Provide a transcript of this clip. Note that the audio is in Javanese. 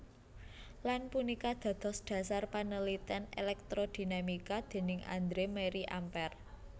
Lan punika dados dhasar panaliten elektrodinamika déning Andre Marie Ampere